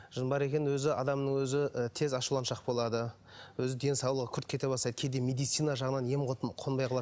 жын бар екенін өзі адамның өзі ы тез ашуланшақ болады өз денсаулығы күрт кете бастайды кейде медицина жағынан ем қонбай қалады